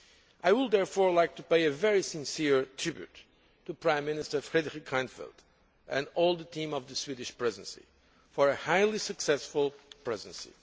I would therefore like to pay a very sincere tribute to Prime Minister Fredrik Reinfeldt and all the team of the Swedish Presidency for a highly successful presidency.